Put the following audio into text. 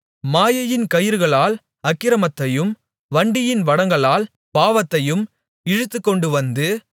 மாயையின் கயிறுகளால் அக்கிரமத்தையும் வண்டியின் வடங்களால் பாவத்தையும் இழுத்துக்கொண்டு வந்து